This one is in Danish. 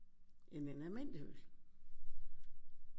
End en almindelig øl